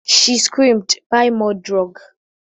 She screamed "Buy more drug"